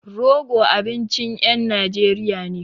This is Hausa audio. Rogo abincin ƴan Najeriya ne.